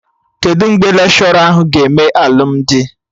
Kedụ mgbe lekshọra ahụ ga-eme alụmdi?